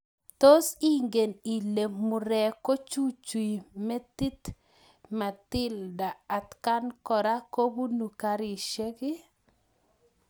Tos ingen ilee murek kochuchui metit Matilda atkan koraa kobunee karisiek iih?